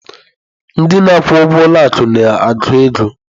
Ndị na-akwụ ụgwọ ụlọ akụ na-agụ ego.